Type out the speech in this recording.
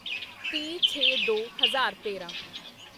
ਤੀਹਛੇਦੋ ਹਜ਼ਾਰ ਤੇਰਾਂ